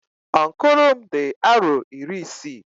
Ọnkụlụ m di aro iri isii.